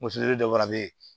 Muso de fana bɛ yen